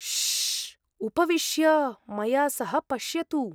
श्श्श्! उपविश्य मया सह पश्यतु।